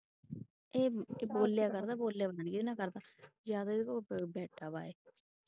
ਇਹ ਬੋਲਿਆ ਕਰਦਾ ਬੋਲਿਆ ਪਤਾ ਨੀ ਕਿਹਦੇ ਨਾਲ ਕਰਦਾ ਜਾ ਤਾ ਇਹਦੇ ਕੋਲ ਬੈਠਾ ਵਾਂ ਇਹ।